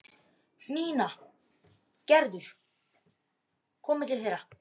Nína og Gerður komu til þeirra.